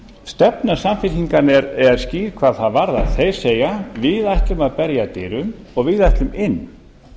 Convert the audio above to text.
stefna samfylkingarinnar er skýr hvað það varðar þeir segja við ætlum að berja að dyrum og við ætlum inn